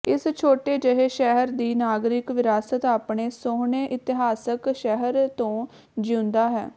ਇਸ ਛੋਟੇ ਜਿਹੇ ਸ਼ਹਿਰ ਦੀ ਨਾਗਰਿਕ ਵਿਰਾਸਤ ਆਪਣੇ ਸੋਹਣੇ ਇਤਿਹਾਸਕ ਸ਼ਹਿਰ ਤੋਂ ਜਿਊਂਦਾ ਹੈ